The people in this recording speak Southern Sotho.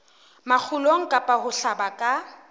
makgulong kapa ho hlaba ka